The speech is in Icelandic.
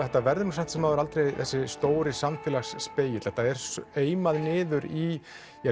þetta verður nú samt sem áður aldrei þessi stóri samfélagsspegill þetta er eimað niður í